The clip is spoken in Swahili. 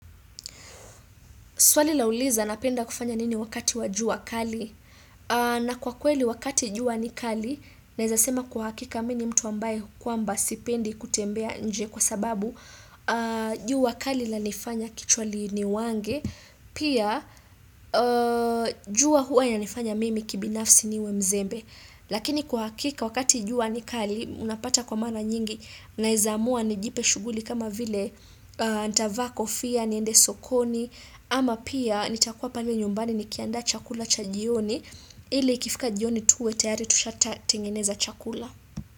Swali lauliza napenda kufanya nini wakati wa jua kali na kwa kweli wakati jua ni kali naweza sema kwa hakika mimi mtu ambaye kwamba sipendi kutembea nje kwa sababu jua kali lanifanya kichwa liniumange. Pia jua hua inanifanya mimi kibinafsi niwe mzembe Lakini kwa hakika wakati jua ni kali unapata kwa mara nyingi naweza amua nijipe shughuli kama vile nitavaa kofia niende sokoni ama pia nitakuwa pale nyumbani nikiandaa chakula cha jioni ili ikifika jioni tuwe tayari tushatengeneza chakula.